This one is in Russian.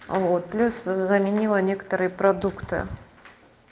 вот плюс заменила некоторые продукты